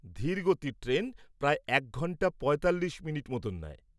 ধীর গতির ট্রেন প্রায় এক ঘন্টা ৪৫ মিনিট মতো নেয়।